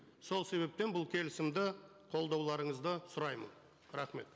сол себептен бұл келісімді қолдауларыңызды сұраймын рахмет